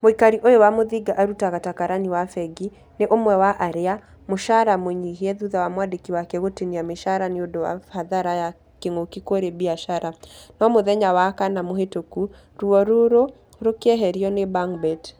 Mũikari ũyũ wa muthiga arutaga ta karani wa fengi , nĩ umwe wa arĩa....mũshara mũnyihie thutha wa mwandĩki wake gũtinia mĩshara nĩũndũ wa hathara ya kĩng'uki kũrĩ biacara. No mũthenya wa kana mũhĩtũku , ruo rũro rũkĩeherio nĩ bangbet.